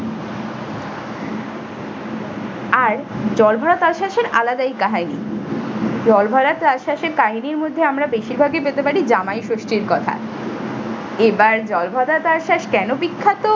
আর জলভরা তালসাশের আলাদাই কাহিনী। জলভরা তালসাশের কাহিনী হচ্ছে আমরা বেশিরভাগই পেতে পারি জামাইষষ্ঠীর কথা। এবার জলভরা তালসাশ কেন বিখ্যাত